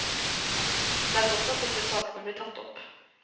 Det er godt at disse sakene blir tatt opp.